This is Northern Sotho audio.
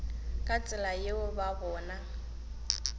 ka tsela yeo ba bona